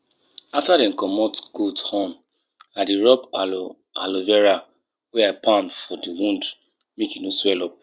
make you allow leaf wey don fall to decay on e own for ground during cold season e go help protect di garden soil wella